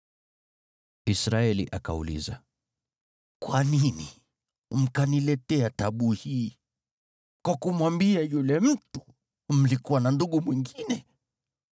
Israeli akauliza, “Kwa nini mkaniletea taabu hii kwa kumwambia yule mtu mlikuwa na ndugu mwingine?”